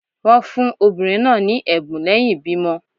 Wọn fun obinrin naa ni ẹbun lẹhin ibimọ